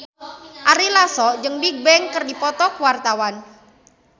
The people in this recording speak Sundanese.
Ari Lasso jeung Bigbang keur dipoto ku wartawan